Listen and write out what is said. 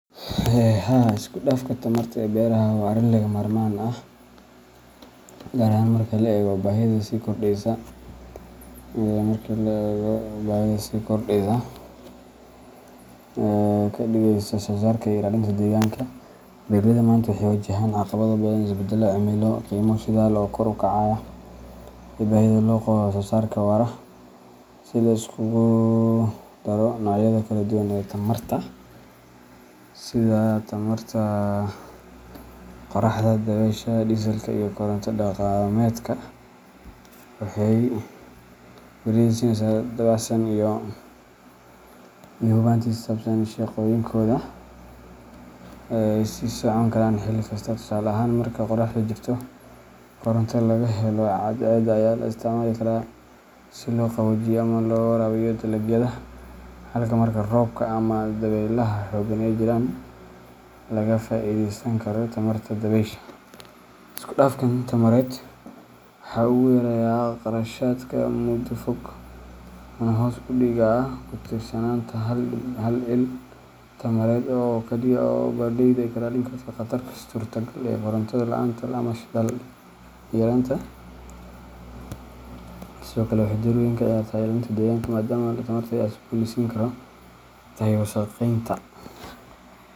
Haa, isku dhafka tamarta ee beraha waa arrin lagama maarmaan ah, gaar ahaan marka la eego baahida sii kordheysa ee wax soo saarka iyo ilaalinta deegaanka. Beeraleydu maanta waxay wajahaan caqabado badan sida isbedelka cimilada, qiimaha shidaalka oo kor u kacaya, iyo baahida loo qabo wax-soo-saar waara. In la isku daro noocyada kala duwan ee tamarta sida tamarta qoraxda, dabaysha, iyo diesel-ka ama koronto dhaqameedka waxay beeraleyda siinaysaa dabacsanaan iyo hubanti ku saabsan in shaqooyinkooda ay sii socon karaan xilli kasta. Tusaale ahaan, marka qoraxdu jirto, koronto laga helo cadceedda ayaa la isticmaali karaa si loo qaboojiyo ama loo waraabiyo dalagyada, halka marka roobka ama dabaylaha xooggan ay jiraan laga faa’iideysan karo tamarta dabaysha. Isku dhafkan tamareed waxa uu yareeyaa kharashyada muddada fog, wuxuuna hoos u dhigaa ku tiirsanaanta hal il tamareed oo kaliya, taas oo beeraleyda ka ilaalin karta khataraha suurtagalka ah ee koronto la’aanta ama shidaal yaraanta. Sidoo kale, waxay door weyn ka ciyaartaa ilaalinta deegaanka, maadaama tamarta la cusboonaysiin karo ay ka yartahay wasakheynta.